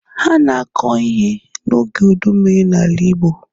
A na-akọ ihe n'oge ụdị mmiri n'ala igbo